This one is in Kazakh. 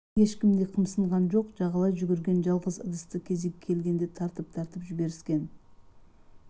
ешкім де қымсынған жоқ жағалай жүгірген жалғыз ыдысты кезегі келгенде тартып-тартып жіберіскен